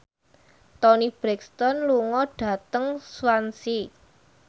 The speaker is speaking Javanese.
Toni Brexton lunga dhateng Swansea